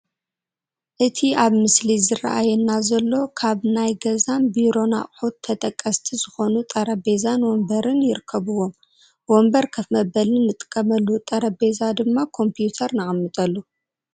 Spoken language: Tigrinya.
እቲ ኣብቲ ምስሊ ዝራኣየና ዘሎ ካብ ናይ ገዛን ቢሮን ኣቕሑት ተጠቐስቲ ዝኾኑ ጠረጼዛን ወንበርን ይርከብዎም፡፡ ወንበር ከፍ መበሊ ንጥቀመሉ፡፡ ጠረጼዛ ድማ ኮምፒተር ነቐምጠሉ፡፡